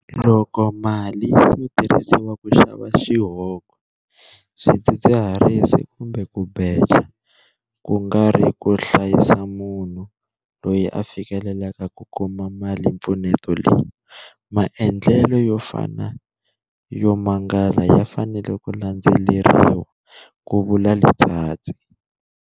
Loko mali yo tirhisiwa ku xava xihoko, swidzidziharisi kumbe ku beja, ku nga ri ku hlayisa munhu loyi a fikelelaka ku kuma malimpfuneto leyi, maendlelo yo fana yo mangala ya fanele ku landzeleriwa, ku vula Letsatsi.